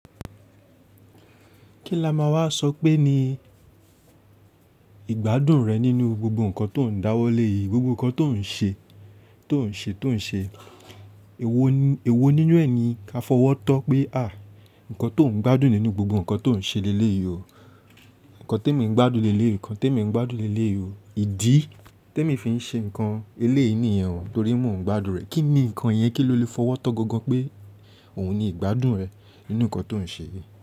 Kí la máa wá sọ pé ni ìgbádùn rẹ nínú gbogbo ǹkan tó ń dáwọ́ lé yìí, gbogbo ǹkan tó ń ṣe, tó ń ṣe, tó ń ṣe. Èwo nínú ẹni ka fọwọ́ tán pé à, ǹkan tó ń gbádùn nínú gbogbo ǹkan tó ń ṣe lé lé yìí o. Ǹkan tí èmi ń gbádùn lé lé yìí, ǹkan tí èmi ń gbádùn lé lé yìí o. Ìdí tí èmi fi ń ṣe ǹkan eléí nìyẹn, torí mò ń gbádùn rẹ̀. Kí ni ǹkan yẹn kí ló lè fọwọ́ tán gangan pé òun ni ìgbádùn rẹ̀ nínú ǹkan tó ń ṣe yìí.